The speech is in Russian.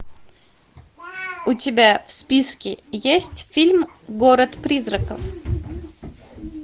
у тебя в списке есть фильм город призраков